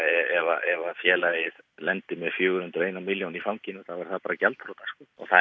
ef félagið lendir með fjögur hundruð og eina milljón í fanginu er það bara gjaldþrota það